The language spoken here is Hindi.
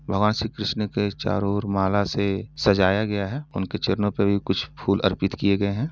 भगवान श्री किशन के चारो और माला से सजाया गया है उनके चरणों पे भी कुछ फूल अर्पित किये गये हैं।